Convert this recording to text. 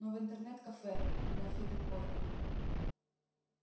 ну в интернет-кафе на фидопойку